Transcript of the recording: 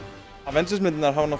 avengers myndirnar hafa